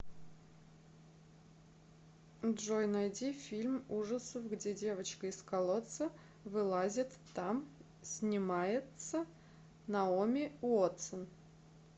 джой найди фильм ужасов где девочка из колодца вылазит там снимается наоми уотсон